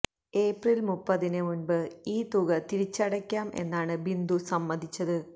April മുപ്പതിന് മുൻപ് ഈ തുക തിരിച്ചടയ്ക്കാം എന്നാണ് ബിന്ദു സമ്മതിച്ചത്